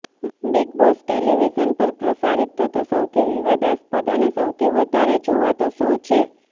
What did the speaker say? big Boss television પર પ્રસારિત થતો સૌથી વિવાદાસ્પદ અને સૌથી વધારે જોવાતો શો છે